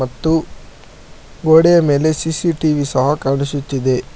ಮತ್ತು ಗೋಡೆಯ ಮೇಲೆ ಸಿ_ಸಿ_ಟಿ_ವಿ ಸಹ ಕಾಣಿಸುತ್ತಿದೆ.